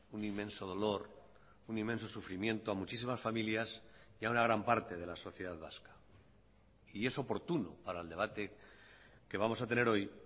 un inmenso dolor un inmenso sufrimiento a muchísimas familias y a una gran parte de la sociedad vasca y es oportuno para el debate que vamos a tener hoy